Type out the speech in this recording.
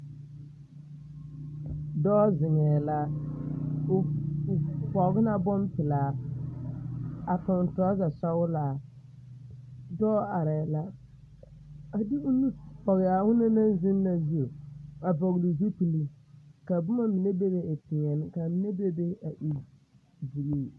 Dɔɔ zegɛɛ la o pɔge la bompelaa a toŋ torɔza sɔglaa dɔɔ arɛɛ la a de o nu pɔge a onaŋ naŋ zoŋ na zu a vɔgli zupili ka boma mine bebe a e peɛle ka mine meŋ bebe a e buluu.